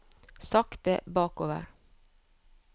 sakte bakover